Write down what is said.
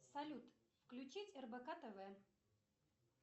салют включить рбк тв